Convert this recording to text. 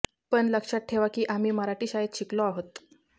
पण लक्षात ठेवा की आम्ही मराठी शाळेत शिकलो आहोत